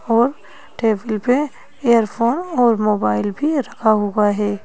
और टेबल पे इयरफोन और मोबाइल भी रखा हुआ है।